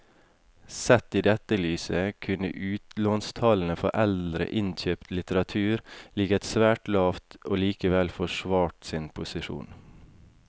Sett i dette lyset kunne utlånstallene for eldre innkjøpt litteratur ligget svært lavt og likevel forsvart sin posisjon.